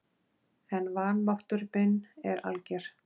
En vanmáttur minn er alger.